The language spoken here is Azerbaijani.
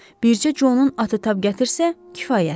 Bircə Conun atı tab gətirsə, kifayətdir.